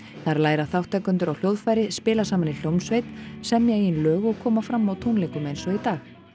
þar læra þátttakendur á hljóðfæri spila saman í hljómsveit semja eigið lag og koma fram á tónleikum eins og í dag